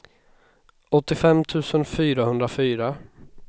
åttiofem tusen fyrahundra